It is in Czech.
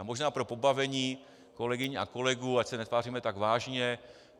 A možná pro pobavení kolegyň a kolegů, ať se netváříme tak vážně.